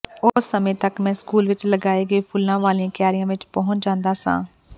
ਉਸ ਸਮੇਂ ਤਕ ਮੈਂ ਸਕੂਲ ਵਿਚ ਲਗਾਏ ਗਏ ਫੁੱਲਾਂ ਵਾਲੀਆਂ ਕਿਆਰੀਆਂ ਵਿਚ ਪਹੁੰਚ ਜਾਂਦਾ ਸਾਂ